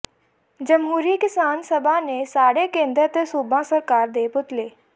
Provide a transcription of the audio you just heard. ਜਮਹੂਰੀ ਕਿਸਾਨ ਸਭਾ ਨੇ ਸਾੜੇ ਕੇਂਦਰ ਤੇ ਸੂਬਾ ਸਰਕਾਰ ਦੇ ਪੁਤਲੇ